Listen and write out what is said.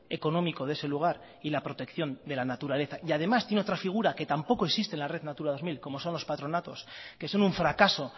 económico de ese lugar y la protección de la naturaleza y además tiene otra figura que tampoco existe en la red natura dos mil como son los patronatos que son un fracaso